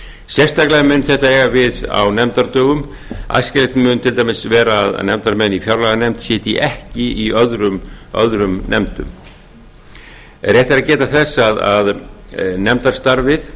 sérstaklega mun þetta eiga við á nefndadögum æskilegt mun til dæmis vera að nefndarmenn í fjárlaganefnd sitji ekki í öðrum nefndum rétt er að geta þess að nefndarstarfið